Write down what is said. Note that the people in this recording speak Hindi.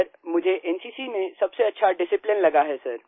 सर मुझे एनसीसी में सबसे अच्छा डिसिप्लिन लगा है सर